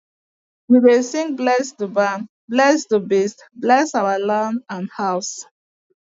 we dey sing bless the barn bless the beast bless our land and house